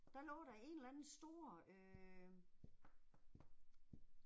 Der lå der en eller anden stor øh